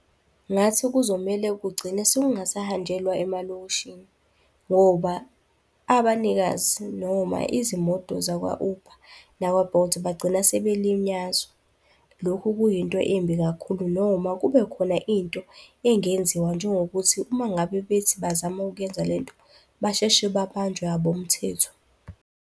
Ngathi kuzomele kugcine sekungasahanjelwa emalokishini, ngoba abanikazi noma izimoto zakwa-Uber nakwa-Bolt bagcina sebelinyazwa. Lokhu kuyinto embi kakhulu noma kubekhona into engenziwa njengokuthi uma ngabe bethi bazama ukuyenza lento basheshe babanjwe abomthetho.